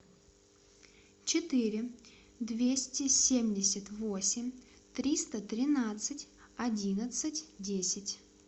четыре двести семьдесят восемь триста тринадцать одиннадцать десять